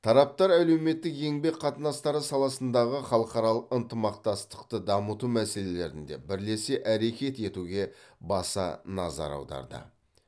тараптар әлеуметтік еңбек қатынастары саласындағы халықаралық ынтымақтастықты дамыту мәселелерінде бірлесе әрекет етуге баса назар аударды